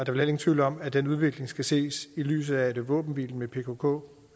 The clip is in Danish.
heller ingen tvivl om at den udvikling skal ses i lyset af at våbenhvilen med pkk